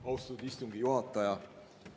Austatud istungi juhataja!